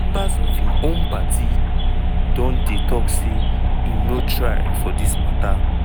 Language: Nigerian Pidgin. members of im own party don dey tok say im no try for dis mata.